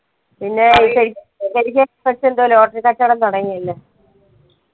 പിന്നെ ശരി ശരിക്കും എന്തോ lottery കച്ചോടം തുടങ്ങിയല്ലേ